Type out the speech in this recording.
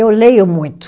Eu leio muito.